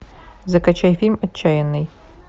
закачай фильм отчаянный